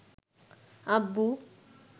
আব্বু